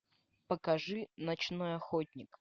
покажи ночной охотник